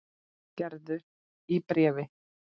Gerður í bréfi.